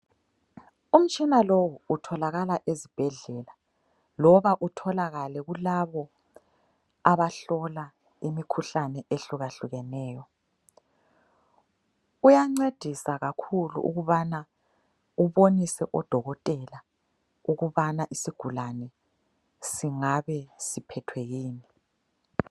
Umtshina lowu utholakala ezibhedlela loba utholakale kulabo abahlola imikhuhlane ehlukahlukeneyo. Uyancedisa kakhulu ukubana ubonise odokotela ukubana isigulane singabe siphethwe yini.